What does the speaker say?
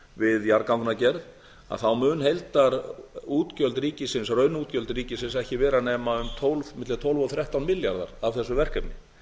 við jarðagangagerð munu heildarútgjöld ríkisins raunútgjöld ríkisins ekki vera nema milli tólf og þrettán milljarðar af þessu verkefni